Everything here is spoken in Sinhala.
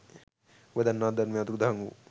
ඔබ දන්නවද ධර්මය අතුරුදහන් වූ